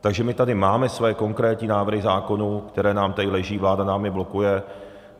Takže my tady máme své konkrétní návrhy zákonů, které nám tady leží, vláda nám je blokuje.